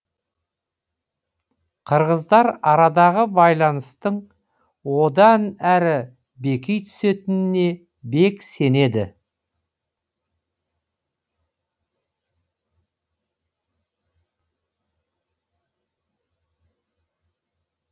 қырғыздар арадағы байланыстың одан әрі беки түсетініне бек сенеді